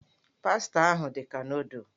Pasta ahụ dị ka nụụdụl.